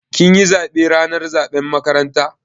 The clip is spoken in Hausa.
Kin yi zaɓe ranar zaɓen makaranta?